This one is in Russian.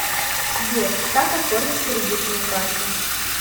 сбер как оформить кредитную карту